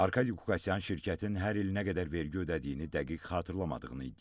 Arkadi Qukasyan şirkətin hər il nə qədər vergi ödədiyini dəqiq xatırlamadığını iddia etdi.